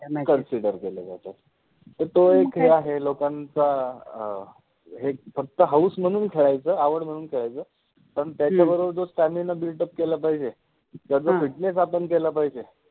consider केल्या जातात, तर तो एक हे आहे, लोकांचा फक्त हाउस मनुन खेळायच, आवड मनुन खेळायच, तो जो stamina buildup केल पाहिजे जस fitness आपन केला पाहिजे